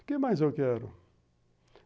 O que mais eu quero?